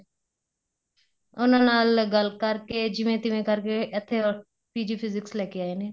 ਉਹਨਾ ਨਾਲ ਗੱਲ ਕਰ ਕੇ ਜਿਵੇਂ ਤਿਵੈ ਕਰ ਕੇ ਇੱਥੇ PG physics ਲੈ ਕੇ ਆਏ ਨੇ